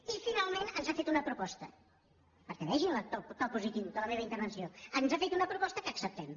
i finalment ens ha fet una proposta perquè vegin el to positiu de la meva intervenció ens ha fet una proposta que acceptem